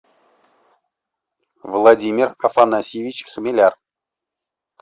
владимир афанасьевич хмеляр